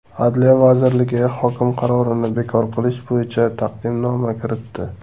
Adliya vazirligi hokim qarorini bekor qilish bo‘yicha taqdimnoma kiritdi .